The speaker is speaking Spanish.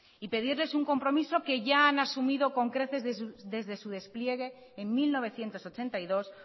y pedirles un compromiso que ya han asumido con creces desde su despliegue en mil novecientos ochenta y dos